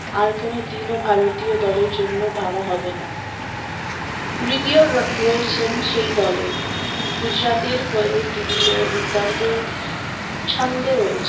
আর কোনোদিন ও ভারতীয় দলের জন্য ভাবা হবে না রিদি ও রো রয়েছেন সেই দলে গুজরাটের হয়েও রিদি ও দুর্দান্ত ছন্দে রয়েছেন